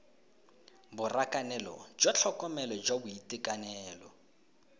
borakanelo jwa tlhokomelo jwa boitekanelo